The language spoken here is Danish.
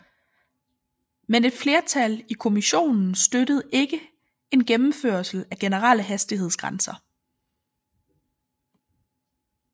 Men et flertal i kommissionen støttede ikke en gennemførelse af generelle hastighedsgrænser